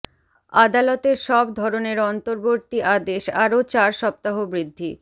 আদালতের সব ধরনের অন্তর্বর্তী আদেশ আরও চার সপ্তাহ বৃদ্ধি